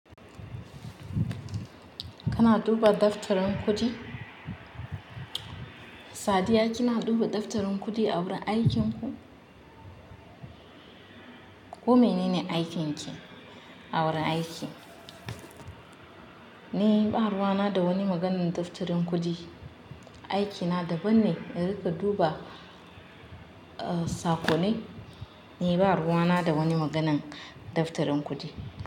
Kana duba daftarin kuɗi? Sadiya kina duba daftarin kuɗi a wurin aikinku? Ku menene aikin ki a wurin aiki? Ni ba ruwa na da wani maganin daftarin kuɗi. Aikina daban ne, in rika duba, uh, sakonni. Ni ba ruwa na da wani maganan daftarin kuɗi.